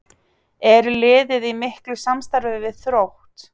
Er liðið í miklu samstarfi við Þrótt?